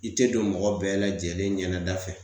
I te don mɔgɔ bɛɛ lajɛlen ɲɛnɛda fɛ